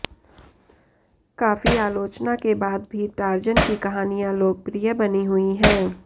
काफी आलोचना के बाद भी टार्ज़न की कहानियां लोकप्रिय बनी हुई हैं